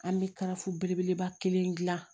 An bɛ kalafi belebeleba kelen gilan